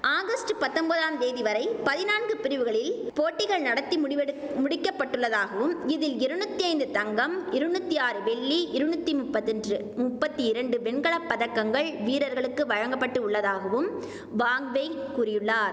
August பத்தொம்பதாம் தேதி வரை பதினான்கு பிரிவுகளில் போட்டிகள் நடத்தி முடிவெடுக் முடிக்கப்பட்டுள்ளதாகவும் இதில் இரநூத்தி ஐந்து தங்கம் இரநூத்தி ஆறு வெள்ளி இரநூத்தி முப்பத் ராண்டு முப்பத்தி இரண்டு வெண்கல பதக்கங்கள் வீரர்களுக்கு வழங்க பட்டு உள்ளதாகவும் வாங்வெய் கூறியுள்ளார்